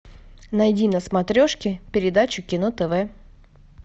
найди на смотрешке передачу кино тв